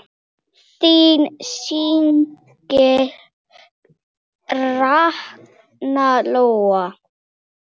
Þín systir Ragna Lóa.